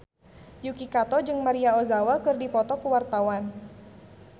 Yuki Kato jeung Maria Ozawa keur dipoto ku wartawan